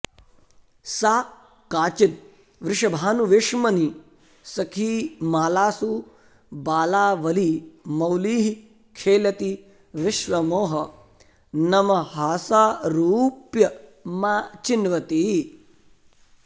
सा काचिद् वृषभानुवेश्मनि सखीमालासु बालावली मौलिः खेलति विश्वमोहनमहासारूप्यमाचिन्वती